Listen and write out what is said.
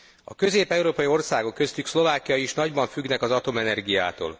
A közép európai országok, köztük Szlovákia is nagyban függnek az atomenergiától.